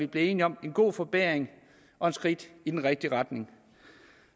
blevet enige om en god forbedring og et skridt i den rigtige retning